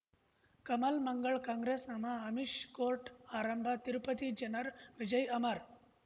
Kamal Mangal Congress ನಮಃ Amish court ಆರಂಭ ತಿರುಪತಿ ಜನರ ವಿಜಯ್ ಅಮರ್